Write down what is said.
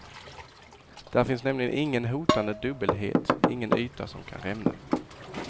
Där finns nämligen ingen hotande dubbelhet, ingen yta som kan rämna.